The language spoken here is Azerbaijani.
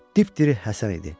Dipdiri Həsən idi.